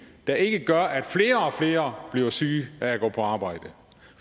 der ikke gør at flere og flere bliver syge af at gå på arbejde